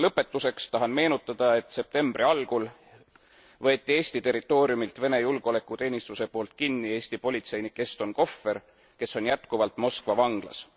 Lõpetuseks tahan meenutada, et septembri algul võeti Eesti territooriumil Vene julgeolekuteenistuse poolt kinni Eesti politseinik Eston Kohver, kes on jätkuvalt Moskva vanglas.